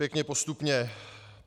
Pěkně postupně.